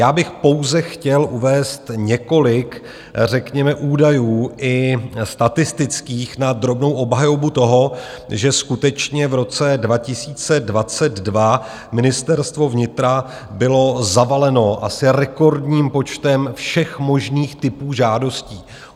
Já bych pouze chtěl uvést několik řekněme údajů i statistických na drobnou obhajobu toho, že skutečně v roce 2022 Ministerstvo vnitra bylo zavaleno asi rekordním počtem všech možných typů žádostí.